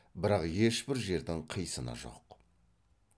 бірақ ешбір жердің қисыны жоқ